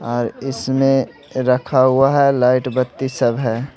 और इसमें रखा हुआ है लाइट बत्ती सब है।